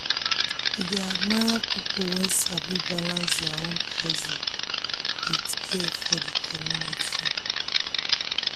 e dey admire people wey sabi balance their own hustle with care for the community.